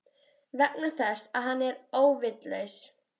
Vegna þess að hann er óvitlaus.